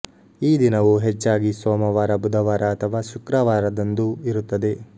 ಈ ದಿನವೂ ಹೆಚ್ಚಾಗಿ ಸೋಮವಾರ ಬುಧವಾರ ಅಥವಾ ಶುಕ್ರವಾರದಂದು ಇರುತ್ತದೆ